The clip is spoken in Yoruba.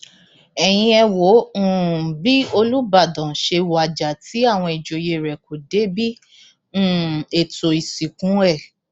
ẹyin ẹ wo um bí olùbàdàn ṣe wájà tí àwọn ìjòyè rẹ kò débi um ètò ìsìnkú ẹ